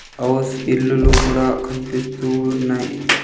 ఆవాస్ ఇల్లులు కూడా కనిపిస్తూ ఉన్నయి.